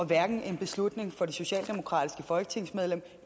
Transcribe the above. hverken en beslutning for det socialdemokratiske folketingsmedlem